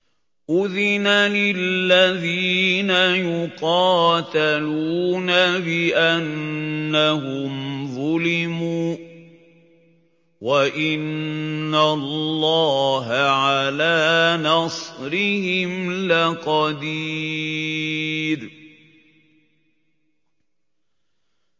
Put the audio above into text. أُذِنَ لِلَّذِينَ يُقَاتَلُونَ بِأَنَّهُمْ ظُلِمُوا ۚ وَإِنَّ اللَّهَ عَلَىٰ نَصْرِهِمْ لَقَدِيرٌ